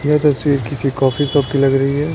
ये तस्वीर किसी कॉफी शॉप की लग रही है।